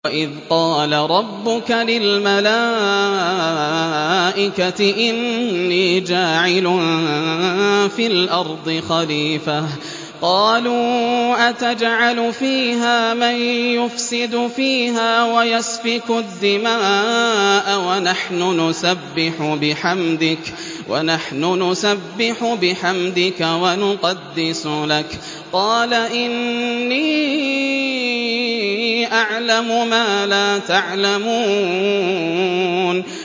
وَإِذْ قَالَ رَبُّكَ لِلْمَلَائِكَةِ إِنِّي جَاعِلٌ فِي الْأَرْضِ خَلِيفَةً ۖ قَالُوا أَتَجْعَلُ فِيهَا مَن يُفْسِدُ فِيهَا وَيَسْفِكُ الدِّمَاءَ وَنَحْنُ نُسَبِّحُ بِحَمْدِكَ وَنُقَدِّسُ لَكَ ۖ قَالَ إِنِّي أَعْلَمُ مَا لَا تَعْلَمُونَ